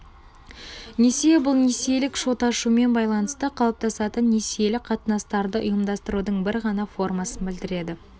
несие бұл несиелік шот ашумен байланысты қалыптасатын несиелік қатынастарды ұйымдастырудың бір ғана формасын білдіреді